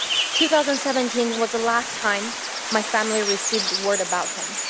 2017 was the last time my family received word about him.